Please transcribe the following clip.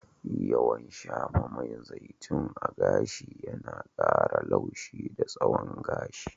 Yawan shafa man zaitun a gashi yana ƙara laushi da tsawon gashi.